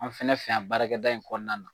An fana fɛ yan baarakɛda in kɔnɔna la.